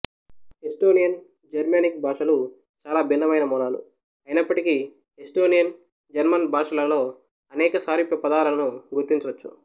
Estonian Germanic భాషలు చాలా భిన్నమైన మూలాలు అయినప్పటికీ ఎస్టోనియన్ జర్మన్ భాషలలో అనేక సారూప్య పదాలను గుర్తించవచ్చు